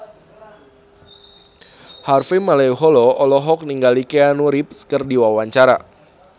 Harvey Malaiholo olohok ningali Keanu Reeves keur diwawancara